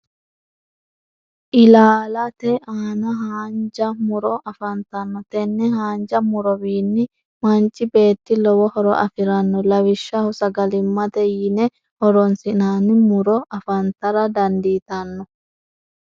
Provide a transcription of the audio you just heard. ilaalate aanna haanja murro afantanno tenne haanja murowiini manchi beetti lowo horo afiranno lawishshaho sagalimate yinne horonsi'nanni muro afantara dandiitanno.